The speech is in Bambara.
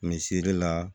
Misɛri la